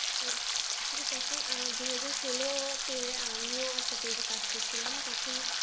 আসলে তখন দুইহাজার ষোলো তে আমিও একটা page এ কাজ করছিলাম তখন